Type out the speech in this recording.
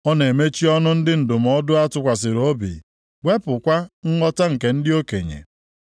Ọ na-emechi ọnụ ndị ndụmọdụ a tụkwasịrị obi, wepụkwa nghọta nke ndị okenye.